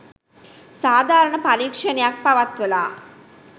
සාධාරණ පරීක්ෂණයක් පවත්වලා